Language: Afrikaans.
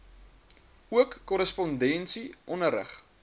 ook korrespondensie onderrig